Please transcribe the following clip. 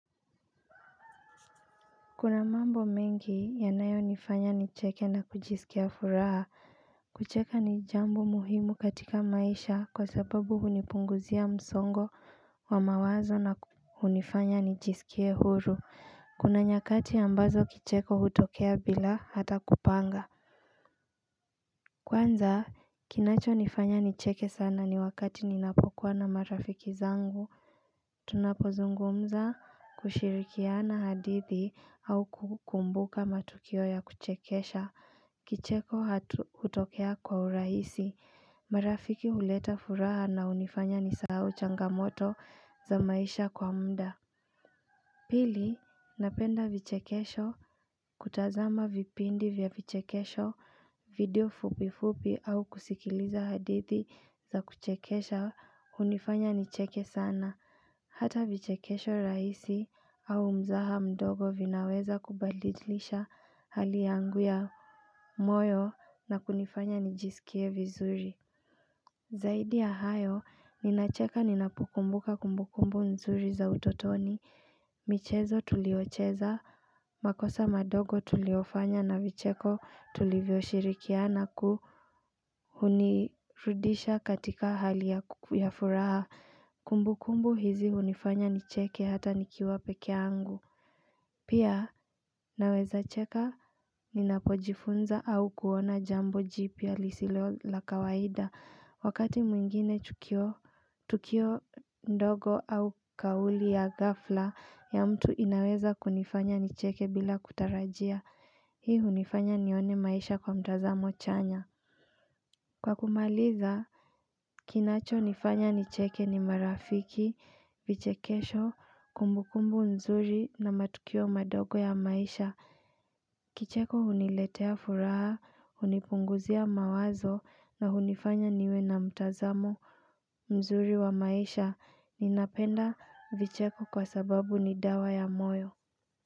Kuna mambo mengi yanayonifanya nicheke na kujisikia furaha kucheka ni jambo muhimu katika maisha kwa sababu hunipunguzia msongo wa mawazo na hunifanya nijisikie huru Kuna nyakati ambazo kicheko hutokea bila hata kupanga Kwanza kinachonifanya nicheke sana ni wakati ninapokuwa na marafiki zangu Tunapozungumza kushirikiana hadithi au kukumbuka matukio ya kuchekesha Kicheko hutokea kwa urahisi marafiki huleta furaha na hunifanya nisahau changamoto za maisha kwa muda Pili, napenda vichekesho kutazama vipindi vya vichekesho video fupi fupi au kusikiliza hadithi za kuchekesha hunifanya nicheke sana Hata vichekesho rahisi au mzaha mdogo vinaweza kubadilisha hali yangu ya moyo na kunifanya nijisikie vizuri Zaidi ya hayo, ninacheka ninapokumbuka kumbukumbu mzuri za utotoni michezo tuliocheza, makosa madogo tuliofanya na vicheko tulivyoshirikina na hunirudisha katika hali ya furaha Kumbu kumbu hizi hunifanya nicheke hata nikiwa pekee yangu Pia naweza cheka ninapojifunza au kuona jambo jipi lisilo la kawaida Wakati mwingine tukio ndogo au kauli ya ghafla ya mtu inaweza kunifanya nicheke bila kutarajia Hii hunifanya nione maisha kwa mtazamo chanya Kwa kumaliza, kinachonifanya nicheke ni marafiki, vichekesho, kumbukumbu mzuri na matukio madogo ya maisha Kicheko huniletea furaha, hunipunguzia mawazo na hunifanya niwe na mtazamo mzuri wa maisha Ninapenda vicheko kwa sababu ni dawa ya moyo.